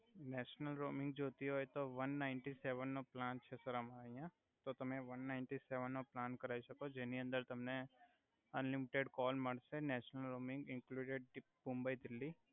national roaming જોઈતી હોય તો અમારે આયા વન નાયન્ટી સેવન નો પ્લાન છે સર અમારે આયા તો તમે વન નાયન્ટી સેવન નો પ્લાન કરાઇ સકો જેની અંદર તમને અનલિમેટેડ કોલ મડ્સે નેશનલ રોમીંગ ઈનક્લુડેડ દી મુંબઈ દિલ્હી